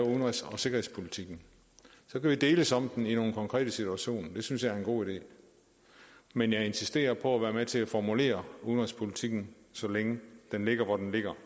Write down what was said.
udenrigs og sikkerhedspolitikken så kan vi deles om den i nogle konkrete situationer og det synes jeg er en god idé men jeg insisterer på at være med til at formulere udenrigspolitikken så længe den ligger hvor den ligger